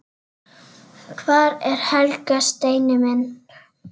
Hvar er Helga, Steini minn?